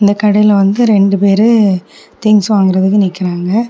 இந்த கடையில வந்து ரெண்டு பேரு திங்ஸ் வாங்குறதுக்கு நிக்கிறாங்க.